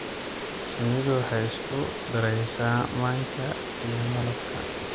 Shinnidu waxay isku daraysaa manka iyo malab.